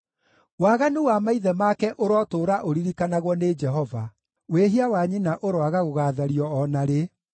Waganu wa maithe make ũrotũũra ũririkanagwo nĩ Jehova; wĩhia wa nyina ũroaga gũgaathario o na rĩ.